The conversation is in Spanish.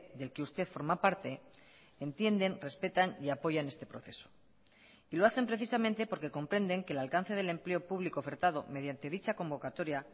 del que usted forma parte entienden respetan y apoyan este proceso y lo hacen precisamente porque comprenden que el alcance del empleo público ofertado mediante dicha convocatoria